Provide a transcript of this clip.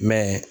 Mɛ